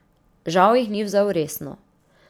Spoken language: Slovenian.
Žal jih ni vzel resno.